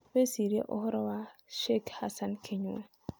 Wĩcirie ũhoro wa Sheikh Hassan Kinyua.